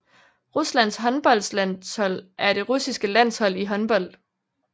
Ruslands håndboldlandshold er det russiske landshold i håndbold